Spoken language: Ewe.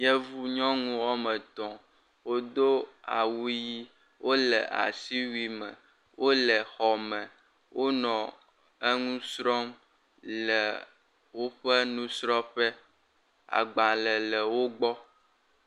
Yevu nyɔnu wɔme etɔ̃ wodo awu ʋi. wo le asiwui me, wo le xɔ me, wonɔ eŋu srɔ̃m le woƒe nusrɔ̃ƒe. agbale le wo gbɔ.